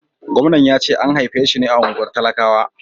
Gwamnan ya ce an haife shi ne a unguwar talakawa.